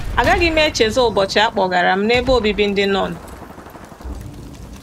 Agaghị m echezọ ụbọchị a kpọgara m n’ebe obibi ndị nọn.